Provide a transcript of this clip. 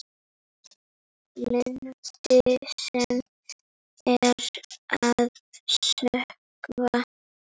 Landi sem er að sökkva.